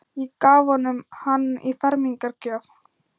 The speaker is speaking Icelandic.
Ég gaf honum hann í fermingargjöf.